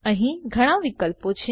અહી ઘણા વિકલ્પો છે